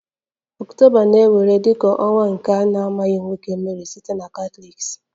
October na-ewere dị ka ọnwa nke na-amaghị nwoke Mary site Catholics